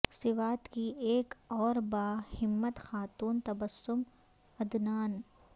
سوات کی ایک اور با ہمت خاتون تبسم عدنان